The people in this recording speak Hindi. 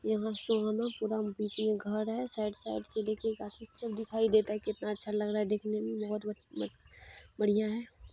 यहाँ से हम पूरा बीच में घर है साइड साइड से देखिए गा सब तर दिखाई देता है कितना अच्छा लग रहा देखने में बहुत अच्छा बड़िया है।